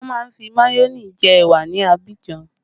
Wọn má ń fi mayone jẹ ẹwà ní Abidjan